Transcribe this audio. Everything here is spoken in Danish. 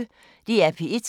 DR P1